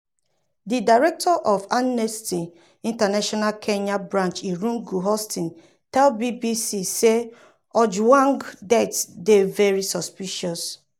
di director of amnesty international kenya branch irungu houghton tell bbc say ojwang death dey "very suspicious".